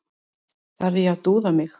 Þarf ég að dúða mig?